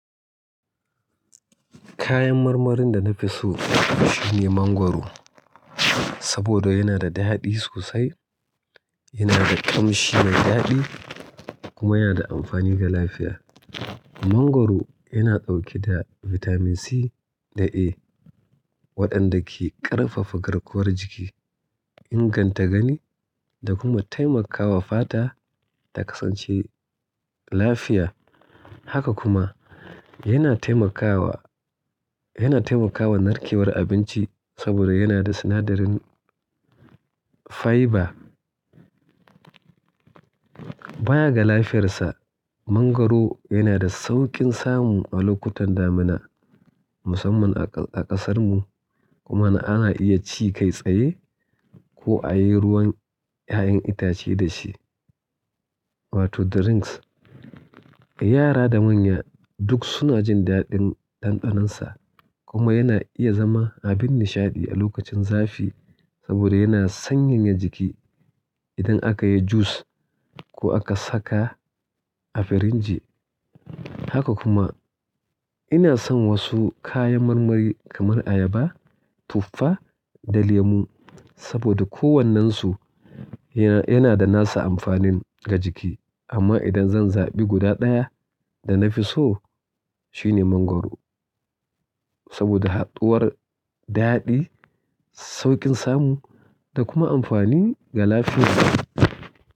Kayan marmarin da na fi so shine mangwaro saboda yana da daɗi sosai, yana da ƙamshi mai daɗi kuma yana da amfani ga lafiya. Mangwaro yana ɗauke da bitamin C da A waɗanda ke ƙarfafa garkuwar jiki, inganta gani da kuma taimakawa fata ta kasance lafiya. Haka kuma yana taimakawa, yana taimakawa narkewar abinci saboda yana da sinadarin fiber. Bayan ga lafiyarsa, mangwaro yana da sauƙin samu a lokutan damina musamman a ƙasar mu kuma ana iya ci kai tsaye ko a yi ruwan ƴaƴan itace da shi wato the drinks. Yara da manya duk suna jin daɗin ɗanɗanon sa kuma yana iya zama abin nishaɗi a lokacin zafi saboda yana sanyaya jiki idan aka yi jus ko aka saka a firinji. Haka kuma ina son wasu kayan marmari kamar ayaba, tufa da lemu saboda kowannansu yana da nasa amfanin ga jiki. Amma idan zan zabi guda ɗaya da na fi so shine mangwaro saboda haduwar dadi saukin samu da kuma amfani da lafiya.